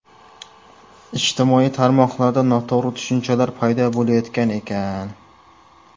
Ijtimoiy tarmoqlarda noto‘g‘ri tushunchalar paydo bo‘layotgan ekan.